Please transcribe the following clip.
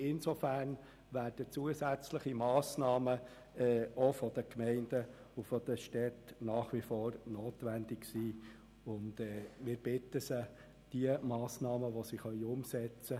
Insofern werden zusätzliche Massnahmen auch seitens der Gemeinden und Städte nach wie vor notwendig sein, und wir bitten Sie, die umsetzbaren Massnahmen auch umzusetzen.